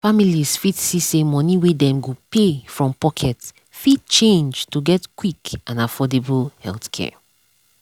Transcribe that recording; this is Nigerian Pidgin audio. families fit see say money wey dem go pay from pocket fit change to get quick and affordable healthcare.